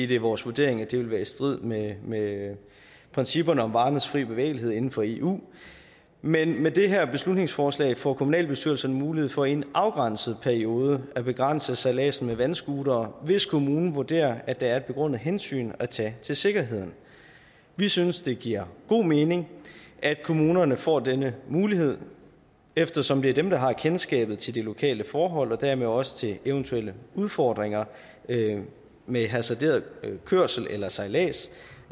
det er vores vurdering at det vil være i strid med med principperne om varernes frie bevægelighed inden for eu men med det her beslutningsforslag får kommunalbestyrelserne mulighed for i en afgrænset periode at begrænse sejladsen med vandscootere hvis kommunen vurderer at der er et begrundet hensyn at tage til sikkerheden vi synes det giver god mening at kommunerne får denne mulighed eftersom det er dem der har kendskabet til de lokale forhold og dermed også til eventuelle udfordringer med med hasarderet sejlads